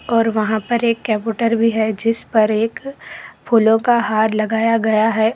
और वहां पर एक कंप्यूटर भी है जिस पर एक फूलों का हार लगाया गया है।